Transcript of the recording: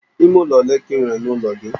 Ime ụlọ ọle ka i nwere n'ụlọ gị?